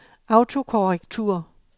autokorrektur